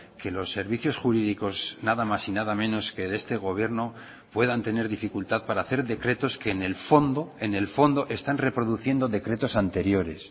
que los servicios jurídicos nada más y nada menos que de este gobierno puedan tener dificultad para hacer decretos que en el fondo en el fondo están reproduciendo decretos anteriores